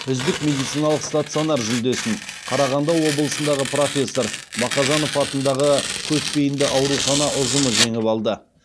үздік медициналық стационар жүлдесін қарағанды облысындағы профессор мақажанов атындағы көпбейінді аурухана ұжымы жеңіп алды